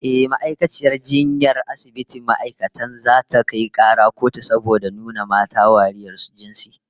Ehh, ma'aikaciyar jinyar asibitin ma'aikatan zata kai kara kotun saboda nuna mata wariyar jinsi